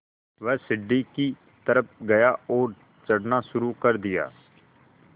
वह सीढ़ी की तरफ़ गया और चढ़ना शुरू कर दिया